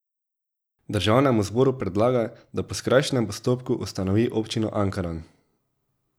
Državnemu zboru predlaga, da po skrajšanem postopku ustanovi občino Ankaran.